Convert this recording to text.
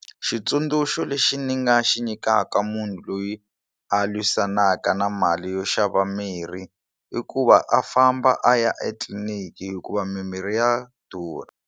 Xitsundzuxo lexi ni nga xi nyikaka munhu loyi a lwisanaka na mali yo xava mirhi i ku va a famba a ya etliliniki hikuva mimirhi ya durha.